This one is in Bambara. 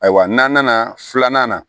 Ayiwa n'an nana filanan na